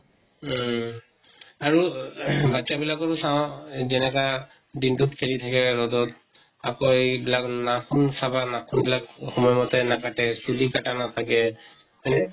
উম আৰু বাচ্ছা বিলাকৰো চাওঁ যেনেকা দিনটোত খেলি থাকে ৰʼদত। আকৌ এইবিলাক নাখুন চাবা, নাখুন বিলাক সময় মতে নাকাটে, চুলি কাটা নাথাকে হয় নে?